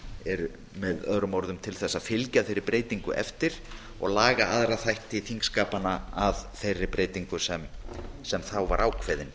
eru með öðrum orðum til þess að fylgja þeirri breytingu eftir og laga aðra þætti þingskapanna að þeirri breytingu sem þá var ákveðin